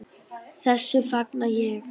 Þessu fagna ég.